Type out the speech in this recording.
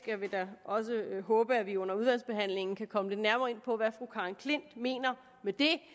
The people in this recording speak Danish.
jeg vil da også håbe at vi under udvalgsbehandlingen kan komme lidt nærmere ind på hvad fru karen j klint mener med det